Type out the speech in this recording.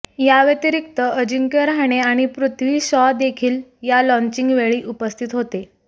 याव्यतिरिक्त अजिंक्य रहाणे आणि पृथ्वी शॉ देखील या लॉंचिगवेळी उपस्थित होते